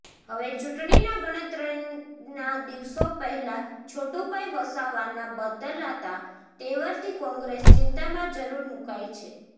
હવે ચૂંટણીના ગણતરીના દિવસો પેહલા છોટુભાઈ વસાવાના બદલાતા તેવરથી કોંગ્રેસ ચિંતામાં જરૂર મુકાઈ છે